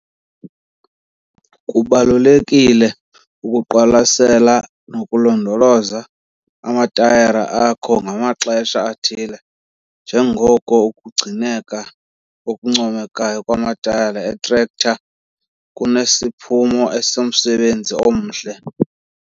Kubalulekile ukuwaqwalasela nokulondoloza amatayara akho ngamaxesha athile njengoko ukugcineka okuncomekayo kwamatayara etrektara kunesiphumo esomsebenzi omhle.